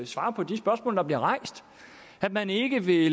svare på de spørgsmål der bliver rejst at man ikke vil